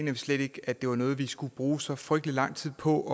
vi slet ikke at det var noget vi skulle bruge så frygtelig lang tid på